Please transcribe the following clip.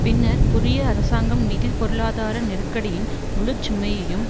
பின்னர் புதிய அரசாங்கம் நிதி பொருளாதார நெருக்கடியின் முழு சுமையையும்